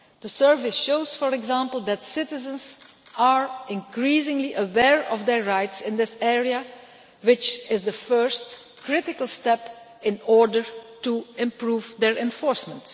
The survey shows, for example, that citizens are increasingly aware of their rights in this area, which is the first critical step in order to improve their enforcement.